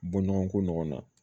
Bɔɲɔgɔnko na